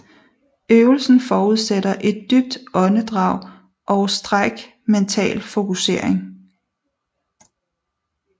Øvelsen forudsætter et dybt åndedrag og stræk mental fokusering